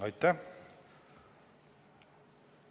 Aitäh!